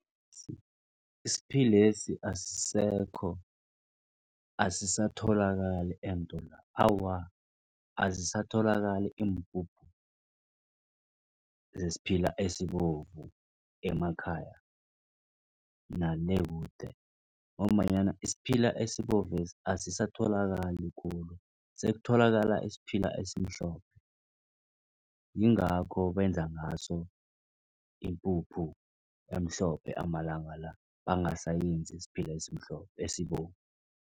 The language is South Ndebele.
Isiphilesi asisekho asisatholakali eentolo awa azisatholakali iimpuphu zesiphila esibovu emakhaya nale kude. Ngombanyana isiphila esibovesi asisatholakali khulu sekutholakala isiphila esimhlophe. Yingakho benza ngaso ipuphu emhlophe amalanga la bangasayenzi isiphila esimhlophe esibovu.